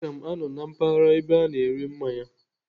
Aga m anọ na mpaghara ebe ana ere mmanya.